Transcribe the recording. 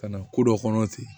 Ka na ko dɔ kɔnɔ ten